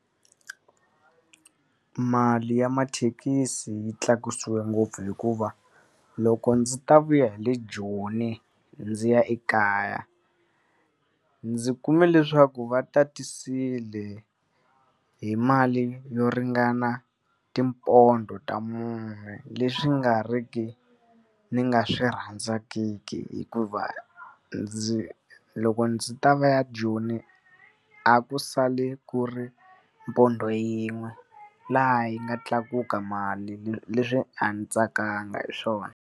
Mali ya mathekisi yi tlakusiwe ngopfu hikuva loko ndzi ta vuya hi le Joni ndzi ya ekaya, ndzi kume leswaku va tatisile hi mali yo ringana tipondo ta mune. Leswi nga ri ki ni nga swi rhandzangiki hikuva, ndzi loko ndzi ta vuya Joni a ku sale ku ri pondo yin'we, laha yi nga tlakuka mali leswi leswi a ndzi tsakanga hi swona.